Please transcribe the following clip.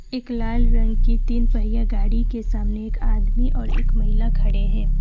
एक लाल रंग के तीन पहिया गाड़ी के सामने एक आदमी और एक महिला खड़े हैं।